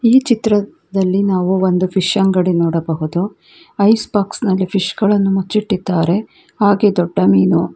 ಈ ಚಿತ್ರದಲ್ಲಿ ನಾವು ಒಂದು ಫಿಶ್ ಅಂಗಡಿಯನ್ನು ನೋಡಬಹುದು ಐಸ್ ಬಾಕ್ಸ್ ನಲ್ಲಿ ಫಿಶ್ ಗಳನ್ನು ಮುಚ್ಚಿಟ್ಟಿದ್ದಾರೆ ಹಾಗೆ ದೊಡ್ಡ ಮೀನು--